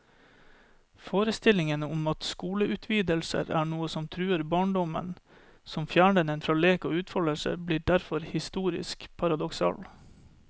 Forestillingen om at skoleutvidelser er noe som truer barndommen, som fjerner den fra lek og utfoldelse, blir derfor historisk litt paradoksal.